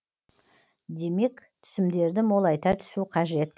демек түсімдерді молайта түсу қажет